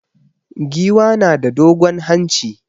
Giwa na da dogon hanci.